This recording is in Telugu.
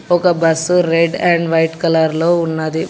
ఒక bus red and white colour లో ఉన్నది.